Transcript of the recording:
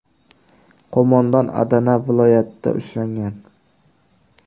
Qo‘mondon Adana viloyatida ushlangan.